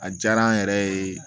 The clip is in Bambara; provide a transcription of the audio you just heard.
A diyara an yɛrɛ ye